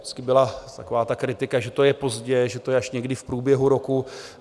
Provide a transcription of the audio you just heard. Vždycky byla taková ta kritika, že to je pozdě, že to je až někdy v průběhu roku.